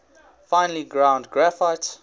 finely ground graphite